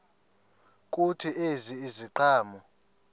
kuthi ezi ziqhamo